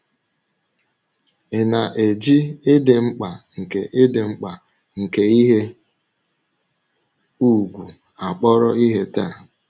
Ị̀ na - eji ịdị mkpa nke ịdị mkpa nke ihe ùgwù a akpọrọ ihe taa?